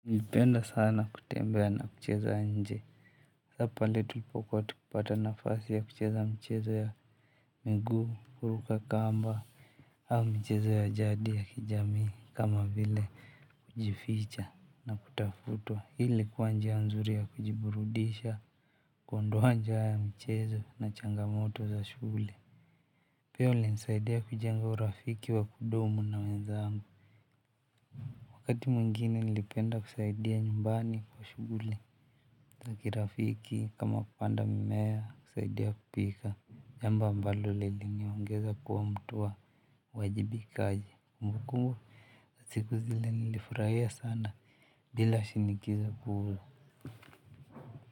Nilipenda sana kutembea na kucheza nje. Hapa pale tulipokuwa tukipata nafasi ya kucheza mchezo ya miguu, kuruka kamba, au mchezo ya jadi ya kijamii kama vile kujificha na kutafutua. Hi ilikuwa njia nzuri ya kujiburudisha, kuondoa nja ya mchezo na changamoto za shule. Pia ulinisaidia kujenga urafiki wa kudumu na wenzangu. Wakati mwingine nilipenda kusaidia nyumbani kwa shughuli ya kirafiki kama kupanda mimea kusaidia kupika. Jambo ambalo liliniongeza kuwa mtu wa wajibikaji kumbukumbu. Siku zile nilifurahia sana bila shinikizo kuwa.